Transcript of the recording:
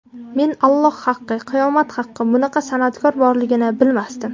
Men Alloh haqqi, qiyomat haqqi, bunaqa san’atkor borligini bilmasdim.